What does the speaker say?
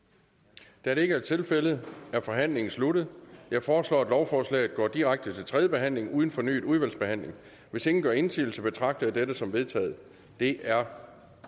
der er ikke er tilfældet er forhandlingen sluttet jeg foreslår at lovforslaget går direkte til tredje behandling uden fornyet udvalgsbehandling hvis ingen gør indsigelse betragter jeg dette som vedtaget det er